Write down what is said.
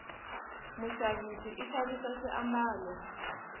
mushavisi ishavisa swi ambalo